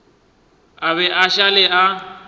a be a šale a